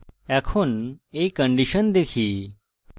এখন এই condition দেখি